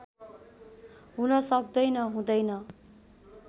हुन सक्दैन हुँदैन